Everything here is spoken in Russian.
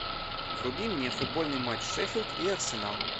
вруби мне футбольный матч шеффилд и арсенал